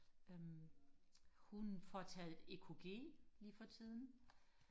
øhm hun får taget EKG lige for tiden